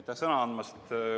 Aitäh sõna andmast!